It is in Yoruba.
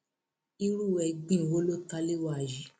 irú ẹgbin wo ló ta lé wa yìí